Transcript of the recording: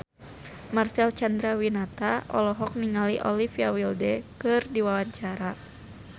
Marcel Chandrawinata olohok ningali Olivia Wilde keur diwawancara